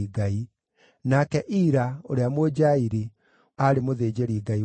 nake Ira, ũrĩa Mũnjairi, aarĩ mũthĩnjĩri-Ngai wa Daudi.